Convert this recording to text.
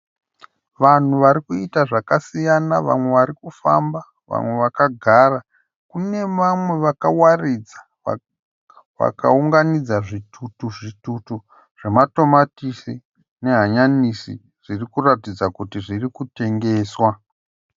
Vanhu varikuita zvakasiyana vamwe varikufamba vamwe vakagara. Kune vamwe vakawaridza vakaunganidza zvitutu zvitutu zvema tomatisi nehanyanisi zviri kuratidza kuti zviri kutengeswa.